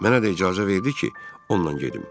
Mənə də icazə verdi ki, onunla gedim.